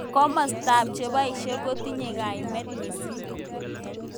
Kimosta ab chobishet kotinye kaimet mising.